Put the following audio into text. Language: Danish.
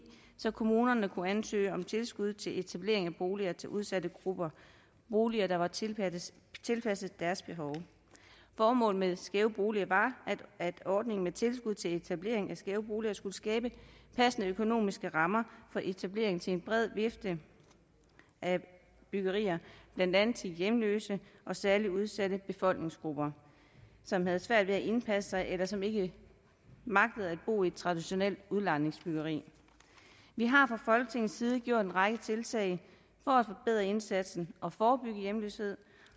så kommunerne kunne ansøge om tilskud til etablering af boliger til udsatte grupper boliger der var tilpasset deres behov formålet med skæve boliger var at ordningen med tilskud til etablering af skæve boliger skulle skabe passende økonomiske rammer for etablering til en bred vifte af byggerier blandt andet til hjemløse og særligt udsatte befolkningsgrupper som havde svært ved at indpasse sig eller som ikke magtede at bo i et traditionelt udlejningsbyggeri vi har fra folketingets side gjort en række tiltag for at forbedre indsatsen og forebygge hjemløshed